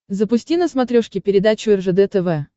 запусти на смотрешке передачу ржд тв